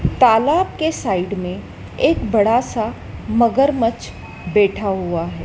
तालाब के साइड में एक बड़ा सा मगरमच्छ बैठा हुआ है।